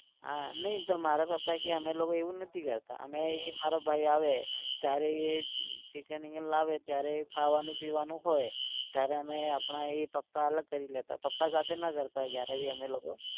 નઇ તો મારા પપ્પાક્યે અમે લોકો એવું નથી કરતાં. અમે એ મારો ભાઈ આવે ત્યારે એ chicken વિકન લાવે ત્યારે ખાવાનું પીવાનું હોય. ત્યારે આપણા એ પપ્પા અલગ કરી લેતા. પપ્પા સાથે ના કરતાં ક્યારેભી અમે લોકો